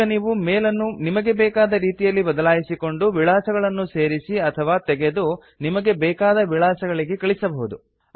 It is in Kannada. ಈಗ ನೀವು ಮೇಲ್ ಅನ್ನು ನಿಮಗೆ ಬೆಕಾದ ರೇತಿಯಲ್ಲಿ ಬದಲಾಯಿಸಿಕೊಂಡು ವಿಳಾಸಗಳನ್ನು ಸೇರಿಸಿ ಅಥವಾ ತೆಗೆದು ನಿಮಗೆ ಬೇಕಾದ ವಿಳಾಸಗಳಿಗೆ ಕಳಿಸಬಹುದು